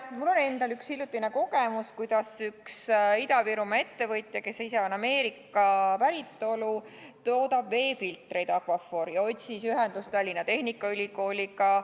Mul on endal üks hiljutine kogemus, kuidas üks Ida-Virumaa ettevõtja, kes ise on Ameerika päritolu ja toodab veefiltreid Aquaphor, otsis ühendust Tallinna Tehnikaülikooliga.